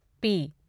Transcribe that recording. P